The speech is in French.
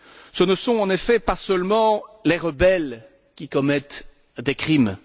Ce ne sont, en effet, pas seulement les rebelles qui commettent des crimes.